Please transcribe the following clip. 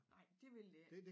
Nej dét vil det ikke